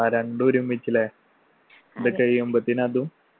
ആ രണ്ടു ഒരുമിച്ച് ല്ലേ ഇത് കഴിയുമ്പത്തെന് അതും.